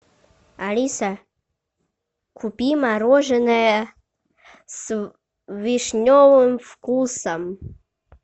алиса купи мороженое с вишневым вкусом